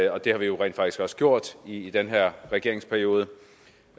og det har vi jo rent faktisk også gjort i den her regeringsperiode